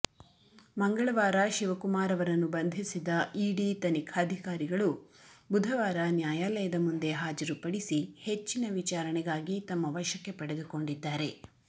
ಮಂಗಳವಾರ ಶಿವಕುಮಾರ್ ಅವರನ್ನು ಬಂಧಿಸಿದ ಇಡಿ ತನಿಖಾಧಿಕಾರಿಗಳು ಬುಧವಾರ ನ್ಯಾಯಲಯದ ಮುಂದೆ ಹಾಜರುಪಡಿಸಿ ಹೆಚ್ಚಿನ ವಿಚಾರಣೆಗಾಗಿ ತಮ್ಮ ವಶಕ್ಕೆ ಪಡೆದುಕೊಂಡಿದ್ದಾರೆ